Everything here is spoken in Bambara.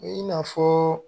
I n'a fɔɔ